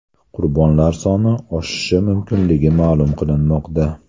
Qurbonlar soni oshishi mumkinligi ma’lum qilinmoqda.